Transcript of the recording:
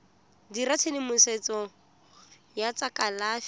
dirisa tshedimosetso ya tsa kalafi